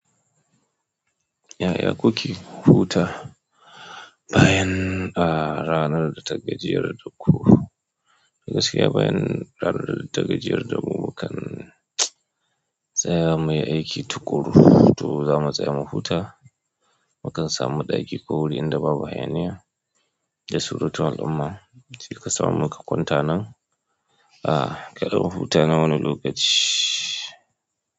Ya kuke huta bayan ranar da ta gajiyar da ku? Gaskiya bayan ranar da ta gajiyar da mu, mukan tsaya muyi aiki tuƙuru. To zamu tsaya mu huta, mukan samu ɗaki ko wuri inda babu hayaniya da surutun al'umma. Tilka samu muka kwanta nan, karmu mu huta na wani lokaci.